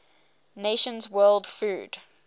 nations world food